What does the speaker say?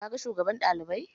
Ka ga shugaban ɗalibai?